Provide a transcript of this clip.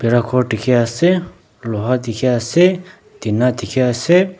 khor dikhiase loha dikhiase tina dikhiase.